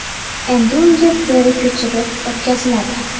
Endi unga teri ko‘chirib o‘tkaziladi.